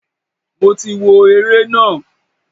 Mo ti wo ere na.